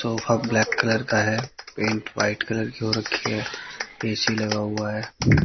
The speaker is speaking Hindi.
सोफा ब्लैक कलर का है पेंट व्हाइट कलर की हो रखी है ए_सी लगा हुआ है।